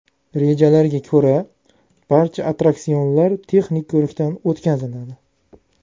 Rejalarga ko‘ra, barcha attraksionlar texnik ko‘rikdan o‘tkaziladi.